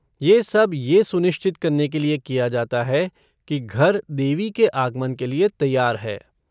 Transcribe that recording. ये सब ये सुनिश्चित करने के लिए किया जाता है कि घर देवी के आगमन के लिये तैयार है।